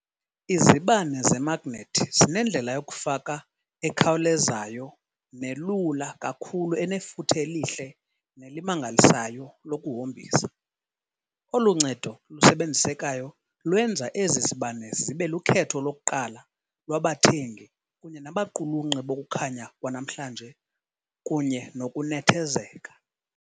Izibane zemagnethi zinendlela yokufaka ekhawulezayo nelula kakhulu enefuthe elihle nelimangalisayo lokuhombisa, olu ncedo lusebenzisekayo lwenza ezi zibane zibe lukhetho lokuqala lwabathengi kunye nabaqulunqi bokukhanya kwanamhlanje kunye nokunethezeka.